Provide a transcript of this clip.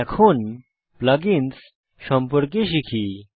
এখন plug ins সম্পর্কে শিখি